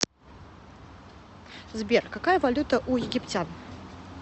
сбер какая валюта у египтян